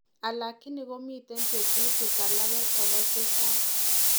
Alakini komiten teutikk alage koraa chechang'